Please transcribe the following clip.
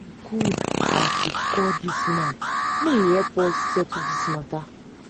e good as we call dis man make im help us settle di mata.